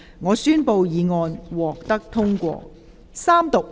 我宣布議案獲得通過。